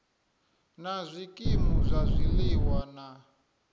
na zwikimu zwa zwiliwa na